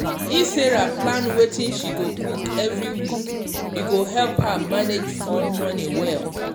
if sarah plan wetin she go cook every week e go help her manage food money well.